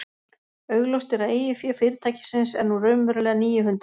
Augljóst er að eigið fé fyrirtækisins er nú raunverulega níu hundruð.